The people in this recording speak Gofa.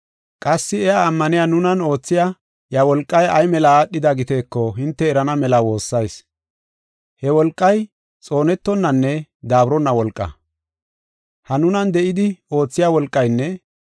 Qassi iya ammaniya nunan oothiya iya wolqay ay mela aadhida giteeko hinte erana mela woossayis. He wolqay xoonetonanne daaburonna wolqaa. Ha nunan de7idi oothiya wolqaynne,